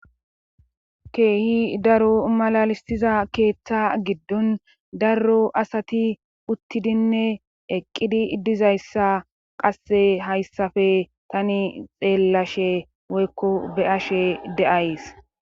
Keehi daro malalistiza keeththa giddon darro asati uttidinne eqqidi iddizayssa qasse hayssafe tani xeellashe woykko be ashe de7ays